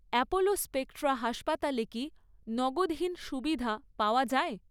Apollo Spectra হাসপাতালে কি নগদহীন সুবিধা পাওয়া যায়?